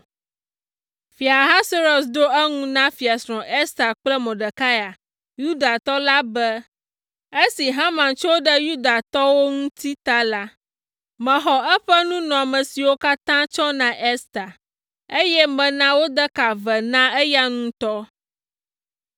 Fia Ahasuerus ɖo eŋu na Fiasrɔ̃ Ester kple Mordekai, Yudatɔ la be, “Esi Haman tso ɖe Yudatɔwo ŋuti ta la, mexɔ eƒe nunɔamesiwo katã tsɔ na Ester, eye mena wode ka ve na eya ŋutɔ.